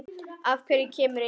Af hverju kemur enginn?